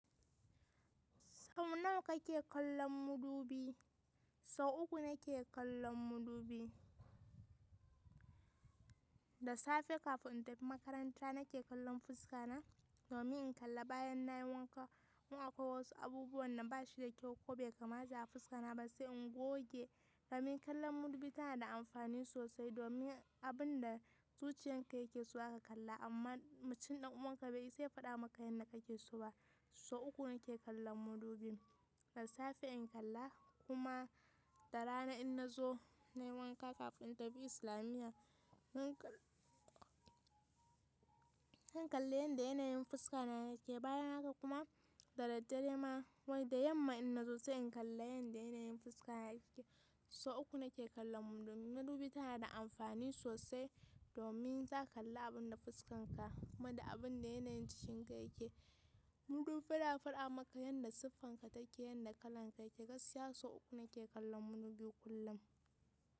Sau nawa kake kallon madubi? Sau uku nake kallon mudubi. Da safe kafin in tafi makaranta nake kallon fuska na domin in kalla bayan na yi wanka in akwai wasu abubuwan da bashi da kyau ko bai kamata a fuska na ba sai in goge. Domin kallon madubi tana da amfani sosai domin abunda zuciyanka ke so ne zaka kalla, amma mutum dan uwanka be isa ya fada maka yanda kake so ba. So uku nake kallon mudubi. Da safe in kalla kuma da rana in nazo nayi wanka kafin in tafi islamiyya. In kalle yanda yanayin fuska na yake bayan haka kuma da daddare ma wai da yamma in na zo sai in kalle yanda yanayin fuska na yake. So uku nake kallon mudubi domin mudubi tana da amfani sosai domin za ka kalla abin da fuskan ka kuma da abin da yanayin jikin ka yake. Mudubi tana faɗa maka yanda siffan ka take yanda kalan ka yake gaskiya so uku nake kallon mudubi kullum.